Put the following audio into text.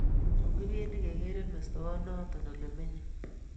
Tun kipendi pkekere mestowot noto ole menye